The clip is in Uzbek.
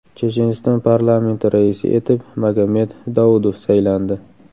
Checheniston parlamenti raisi etib Magomed Daudov saylandi.